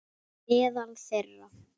Meðal þeirra